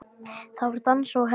Það var dansað og hlegið.